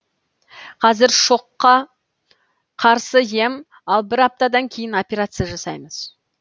қазір шокка қарсы ем ал бір аптадан кейін операция жасаймыз